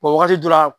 wagati dɔ la